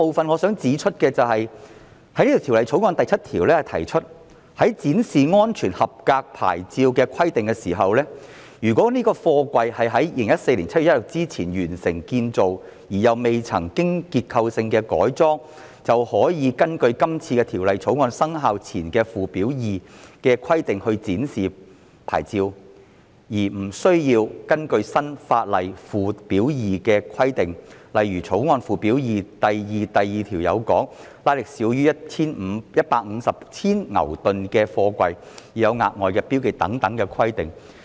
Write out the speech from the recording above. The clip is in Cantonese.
我想指出的第二點是，《條例草案》第7條提出，在展示安全合格牌照的規定上，"如該貨櫃於2014年7月1日之前完成建造而又未曾經過結構性的改裝"，便可以根據今次《條例草案》生效前的附表2的規定來展示牌照，而無需根據新法例附表2的規定，例如《條例草案》附表2第 21b 條訂明，"推拉值少於150千牛頓"的貨櫃的牌照須有額外標記等規定。